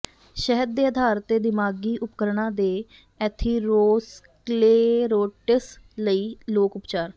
ਸ਼ਹਿਦ ਦੇ ਆਧਾਰ ਤੇ ਦਿਮਾਗ਼ੀ ਉਪਕਰਣਾਂ ਦੇ ਐਥੀਰੋਸਕਲੇਰੋਟਿਸ ਲਈ ਲੋਕ ਉਪਚਾਰ